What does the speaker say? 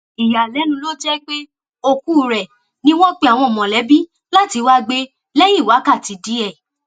ìyàlẹnu ló jẹpẹ òkú rẹ ni wọn pe àwọn mọlẹbí láti wáá gbé lẹyìn wákàtí díẹ